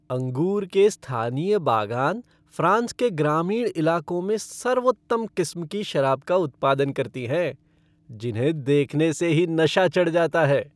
अंगूर के स्थानीय बागान फ़्रांस के ग्रामीण इलाकों में सर्वोत्तम किस्म की शराब का उत्पादन करती हैं जिन्हें देखने से ही नशा चढ़ जाता है।